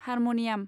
harmonium